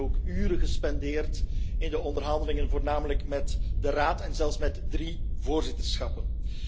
We hebben dan ook uren gespendeerd aan de onderhandelingen, voornamelijk met de Raad en zelfs met drie voorzitterschappen.